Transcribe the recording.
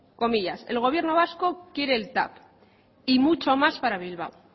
el gobierno vasco quiere el tav y mucho más para bilbao